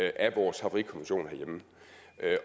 af vores havarikommission herhjemme